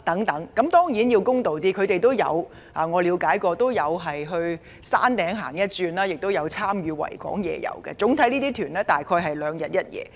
當然，我要公道一點，我了解他們也會到山頂逛逛，亦有參加維港夜遊，而這些旅行團主要在港逗留兩日一夜。